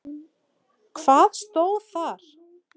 Hvað stóð þar?